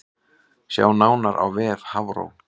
Sjá nánar á vef Hafró